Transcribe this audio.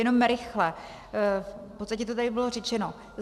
Jenom rychle, v podstatě to tady bylo řečeno.